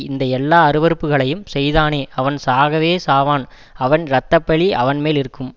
இந்த எல்லா அருவருப்புகளையும் செய்தானே அவன் சாகவே சாவான் அவன் இரத்த பழி அவன்மேல் இருக்கும்